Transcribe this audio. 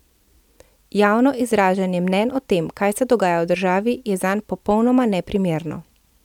Javno izražanje mnenj o tem, kaj se dogaja v državi, je zanj popolnoma neprimerno.